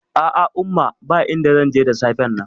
A'a umma, ba inda zanje da safen nan